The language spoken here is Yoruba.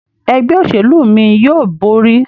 Ẹgbẹ́ òṣèlú mí yóò bóri.